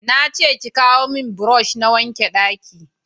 na ce ki kawo mun burosh na wanke banɗaki